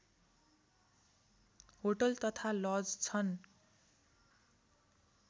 hotel तथा lodge छन्